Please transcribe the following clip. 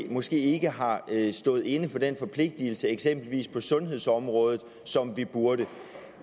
måske ikke har stået inde for den forpligtelse eksempelvis på sundhedsområdet som vi burde